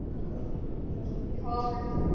ਔਰ ਮੈਂ ਉਦੀ ਤਿਆਰੀ ਕਰਦੀ ਆ ਔਰ